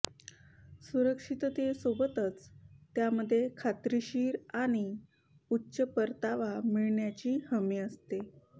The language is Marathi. सुरक्षिततेसोबतच त्यामध्ये खात्रीशीर आणि उच्च परतावा मिळण्याची हमी असते